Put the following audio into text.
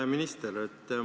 Hea minister!